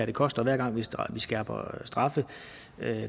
det koster hver gang vi skærper straffene